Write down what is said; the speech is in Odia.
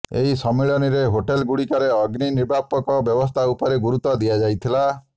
ଏହି ସମ୍ମିଳନୀରେ ହୋଟେଲଗୁଡ଼ିକରେ ଅଗ୍ନି ନିର୍ବାପକ ବ୍ୟବସ୍ଥା ଉପରେ ଗୁରୁତ୍ୱ ଦିଆଯାଇଥିଲା